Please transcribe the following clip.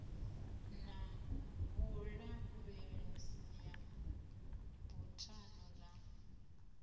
na vhulavhelese ya buthano ḽa